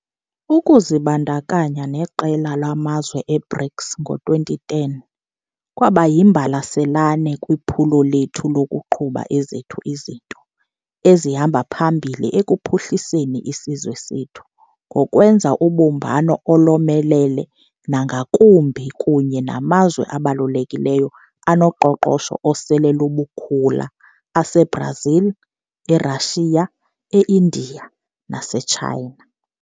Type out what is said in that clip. Ukuzibandakanya neqela lamazwe e-BRICS ngo-2010 kwaba yimbalasane kwiphulo lethu lokuqhuba ezethu izinto ezihamba phambili ekuphuhliseni isizwe sethu ngokwenza ubumbano olomelele nangakumbi kunye namazwe abalulekileyo anoqoqosho osele lubukukhula ase-Brazil, e-Russia, e-India nase-China.